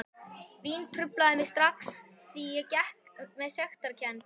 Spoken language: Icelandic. Vín truflaði mig strax því ég gekk með sektarkennd.